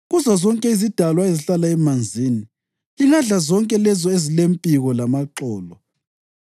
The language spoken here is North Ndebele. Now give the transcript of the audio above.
Kuzozonke izidalwa ezihlala emanzini, lingadla zonke lezo ezilempiko lamaxolo.